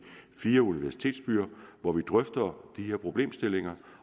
fire universitetsbyer hvor vi drøfter de her problemstillinger